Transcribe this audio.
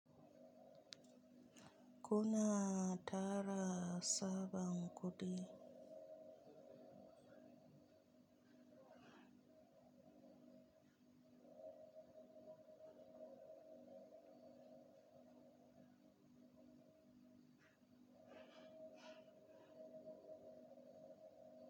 Kuna tara sabon kuɗi?